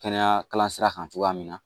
Kɛnɛya kalan sira kan cogoya min na